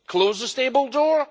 Close the stable door?